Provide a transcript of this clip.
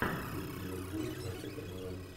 встреча ливерпуля с манчестер юнайтед